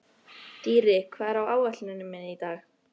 Dýri, hvað er á áætluninni minni í dag?